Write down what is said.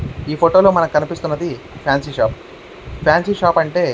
ఈ ఫోటో లో మనకి కనిపిస్తున్నది ఫ్యాన్సీ షాప్ . ఫ్యాన్సీ షాప్ అంటే --